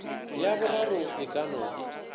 ya boraro e ka no